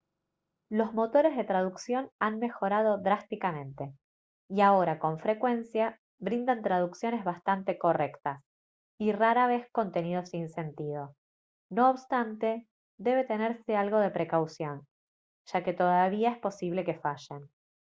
los motores de traducción han mejorado drásticamente y ahora con frecuencia brindan traducciones bastante correctas y rara vez contenido sin sentido; no obstante debe tenerse algo de precaución ya que todavía es posible que fallen